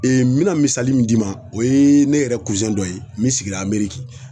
n be na misali min d'i ma o ye ne yɛrɛ dɔ ye min sigira Amérique.